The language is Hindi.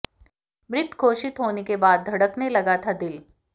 मृत घोषित होने के बाद धड़कने लगा था दिल